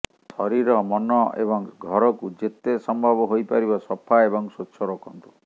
ଶରୀର ମନ ଏବଂ ଘରକୁ ଯେେତେ ସମ୍ଭବ ହୋଇପାରିବ ସଫା ଏବଂ ସ୍ୱଚ୍ଛ ରଖନ୍ତୁ